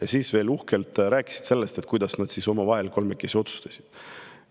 Ja siis veel uhkelt rääkisid sellest, kuidas nad omavahel kolmekesi otsustasid.